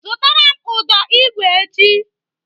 Zụtara m ụdọ igwe echi!